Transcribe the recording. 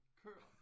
Køer